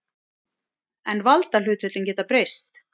En valdahlutföllin geta breyst.